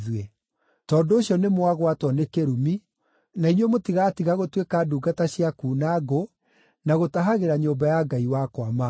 Tondũ ũcio nĩmwagwatwo nĩ kĩrumi, na inyuĩ mũtigatiga gũtuĩka ndungata cia kuuna ngũ na gũtahagĩra nyũmba ya Ngai wakwa maaĩ.”